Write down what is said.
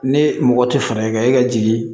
Ne mɔgɔ tɛ fɛɛrɛ kɛ e ka jigin